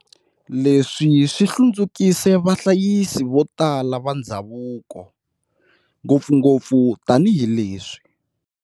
Leswi swi hlundzukise vahlayisi vo tala va ndhavuko, ngopfungopfu tanihi leswi